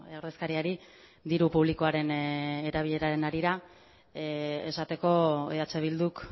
ordezkariari diru publikoaren erabileraren harira esateko eh bilduk